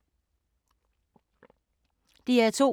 DR2